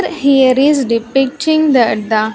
Here is depicting that the --